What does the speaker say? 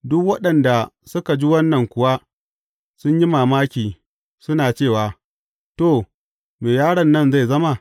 Duk waɗanda suka ji wannan kuwa sun yi mamaki suna cewa, To, me yaron nan zai zama?